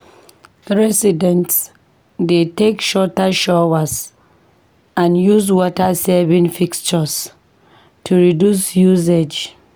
Residents dey take shorter showers and use water-saving fixtures to reduce usage.